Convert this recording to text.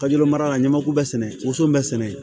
Kajuru mara la n ɲamaku bɛɛ sɛnɛ woson bɛ sɛnɛ yen